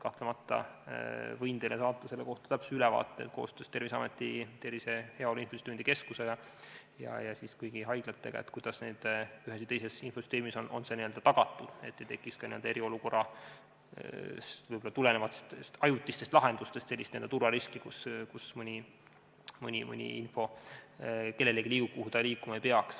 Kahtlemata võin teile saata selle kohta täpse ülevaate koostöös Terviseameti, Tervise ja Heaolu Infosüsteemide Keskusega ja kõigi haiglatega, kuidas on ühes või teises infosüsteemis tagatud see, et ei tekiks ka eriolukorrast tulenevatest ajutistest lahendustest sellist turvariski, kus mõni info liigub kellelegi kuhugi, kuhu ta liikuma ei peaks.